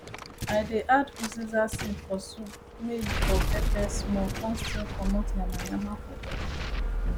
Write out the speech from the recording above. i dey add uziza seed for soup may e for pepper small con still comot yanmayanma for body